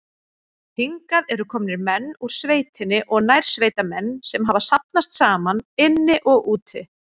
Hingað eru komnir menn úr sveitinni og nærsveitamenn, sem hafa safnast saman inni og úti.